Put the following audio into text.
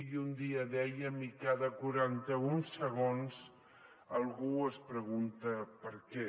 i un dia dèiem i cada quaranta un segons algú es pregunta per què